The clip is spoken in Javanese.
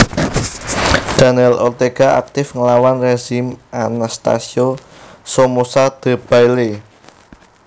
Daniel Ortega aktif nglawan rezim Anastasio Somoza Debayle